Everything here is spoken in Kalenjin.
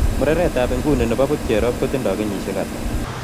Murereetap inguni ne pocherrop kotindo kenyisiek ata